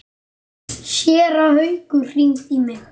Séra Haukur hringdi í mig.